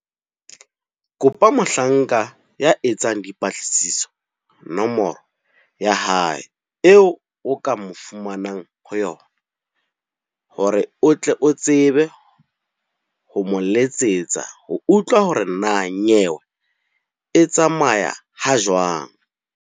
Kopa mohlanka ya etsang dipatlisiso nomoro ya hae eo o ka mo fumanang ho yona, hore o tle o tsebe ho mo letsetsa ho utlwa hore na nyewe e tsamaya ha jwang.